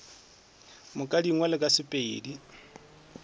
moka di ngwalwe ka sepedi